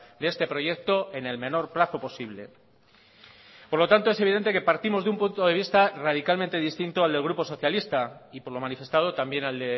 de este proyecto en el menor plazo posible por lo tanto es evidente que partimos de un punto de vista radicalmente distinto al del grupo socialista y por lo manifestado también al